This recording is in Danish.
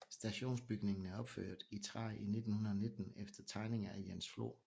Stationsbygningen er opført i træ i 1919 efter tegninger af Jens Flor